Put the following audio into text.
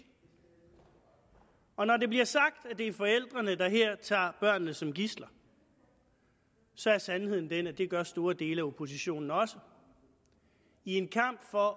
og når det bliver sagt at det er forældrene der her tager børnene som gidsler så er sandheden den at det gør store dele af oppositionen også i en kamp for